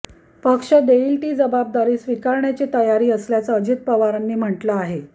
पक्ष देईल ती जबाबदारी स्वीकारण्याची तयारी असल्याचं अजित पवारांनी म्हटलं आहे